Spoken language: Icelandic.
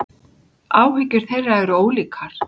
Áhyggjur þeirra ólíkar.